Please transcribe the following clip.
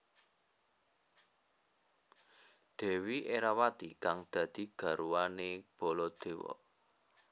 Dèwi Erawati kang dadi garwané Baladéwa